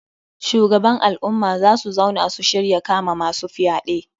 Shugaban al'umma za su zauna su shirya kama masu fyaɗe.